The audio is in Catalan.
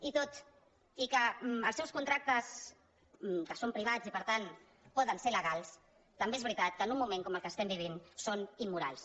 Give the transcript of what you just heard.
i tot i que els seus contrac·tes que són privats i per tant poden ser legals tam·bé és veritat que en un moment com el que estem vi·vint són immorals